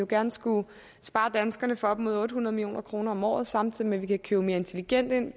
gerne skulle spare danskerne for op mod otte hundrede million kroner om året samtidig med at vi kan købe mere intelligent ind